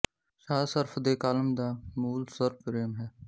ਸ਼ਾਹ ਸ਼ਰਫ਼ ਦੇ ਕਾਲਮ ਦਾ ਮੂਲ ਸ੍ਵਰ ਪ੍ਰੇਮ ਹੈ